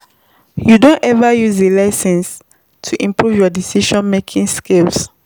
You don ever use di lesson to improve your decision-making skills?